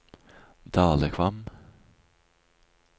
Dalekvam